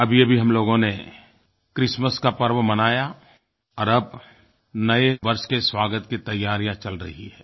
अभीअभी हम लोगों ने क्रिसमस का पर्व मनाया और अब नये वर्ष के स्वागत की तैयारियाँ चल रही हैं